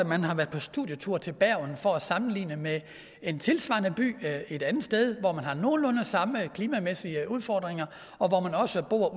man har været på studietur til bergen for at sammenligne med en tilsvarende by et andet sted hvor man har nogenlunde samme klimamæssige udfordringer og hvor man også bor